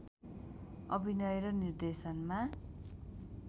अभिनय र निर्देशनमा